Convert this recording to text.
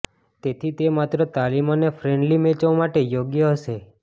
તેથી તે માત્ર તાલીમ અને ફ્રેન્ડલી મેચો માટે યોગ્ય હશે